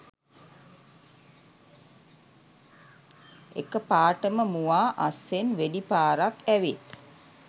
එකපාටම මුවා අස්සෙන් වෙඩි පාරක් ඇවිත්